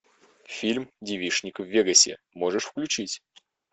фильм девичник в вегасе можешь включить